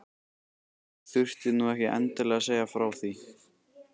Þú þurftir nú ekki endilega að segja frá því